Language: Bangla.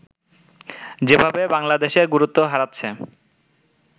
যেভাবে বাংলাদেশে গুরুত্ব হারাচ্ছে